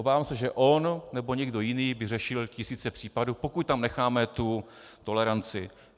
Obávám se, že on nebo někdo jiný by řešil tisíce případů, pokud tam necháme tu toleranci.